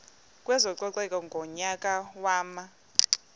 kwezococeko ngonyaka wama